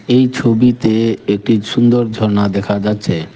এই ছবিতে একটি সুন্দর ঝর্না দেখা যাচ্ছে।